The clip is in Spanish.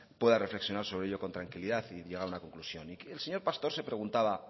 pueda reflexionar sobre ello con tranquilidad y llegar a una conclusión el señor pastor se preguntaba